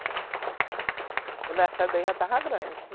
Quando ela saiu daí, ela já estava grande.